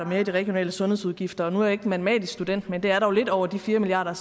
mere i regionale sundhedsudgifter og nu er jeg ikke matematisk student men det er dog lidt over de fire milliard